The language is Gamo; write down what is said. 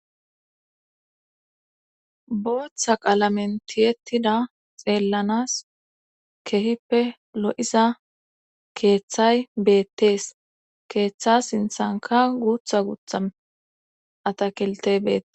Booththa qalamentiyettida xeellanas kehippe lo'iza keeththay beettees keeththa sinthanka guutha gutham atakelte beette.